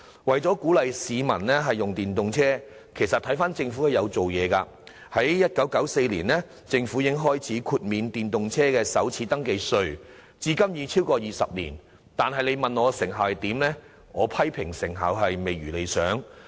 為鼓勵市民使用電動車，政府其實也有下工夫，早於1994年已開始豁免電動車首次登記稅，至今已超過20年，但說到措施的成效，我卻認為未如理想。